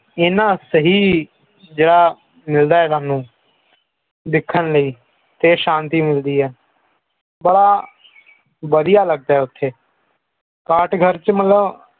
ਇਹਨਾਂ ਸਹੀ ਜੋੜਾ ਮਿਲਦਾ ਹੈ ਸਭ ਨੂੰ ਦੇਖਣ ਲਈ ਤੇ ਸ਼ਾਂਤੀ ਮਿਲਦੀ ਹੈ ਬੜਾ ਵਧੀਆ ਲਗਦਾ ਹੈ ਉੱਥੇ ਕਾਟ ਘਰ ਚ ਮਤਲਬ